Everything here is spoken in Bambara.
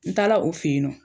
N taala o fe yen nɔ